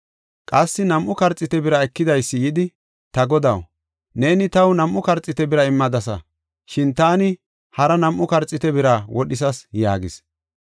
“Qassi nam7u karxiite bira ekidaysi yidi, ‘Ta godaw, neeni taw nam7u karxiite bira immadasa. Shin taani hara nam7u karxiite bira wodhisas’ yaagis.